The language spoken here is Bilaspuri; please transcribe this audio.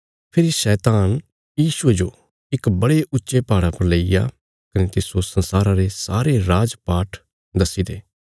फेरी शैतान यीशुये जो इक बड़े ऊच्चे पहाड़ा पर लेईग्या कने तिस्सो संसारा रे सारे राजपाठ धनदौलत दस्सीने